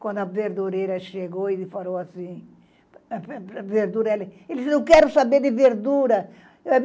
Quando a verdureira chegou, ele falou assim... Ele disse, não quero saber de verdura.